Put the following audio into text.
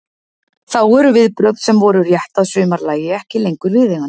Þá eru viðbrögð sem voru rétt að sumarlagi ekki lengur viðeigandi.